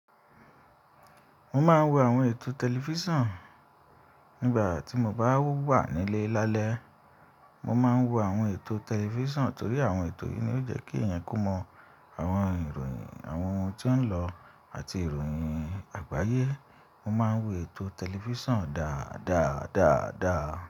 Mo máa ń wo àwọn ètò tẹlifísàn nígbà tí mo bá wà nílé lálẹ́. Mo máa ń wo àwọn ètò tẹlifísàn torí àwọn ètò yìí ni ó jẹ́ kí èèyàn kò mọ àwọn ìròyìn àwọn ohun tí ó ń lọ àti ìròyìn àgbáyé. Mo máa ń wo ètò tẹlifísàn dáadáa dáadáa.